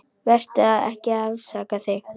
Vertu ekki að afsaka þig.